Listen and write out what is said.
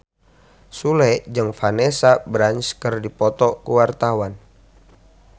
Sule jeung Vanessa Branch keur dipoto ku wartawan